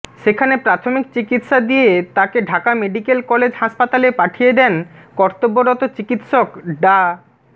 সেখানে প্রাথমিক চিকিৎসার দিয়ে তাকে ঢাকা মেডিকেল কলেজ হাসপাতালে পাঠিয়ে দেন কর্তব্যরত চিকিৎসক ডা